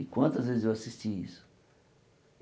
E quantas vezes eu assisti isso?